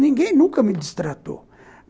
Ninguém nunca me distratou.